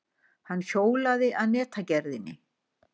Hann hjólaði að netagerðinni.